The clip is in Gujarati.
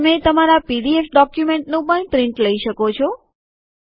તમે તમારા પીડીએફ ડોક્યુમેન્ટનું પણ પ્રિન્ટ લઇ શકો છો